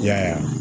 I y'a ye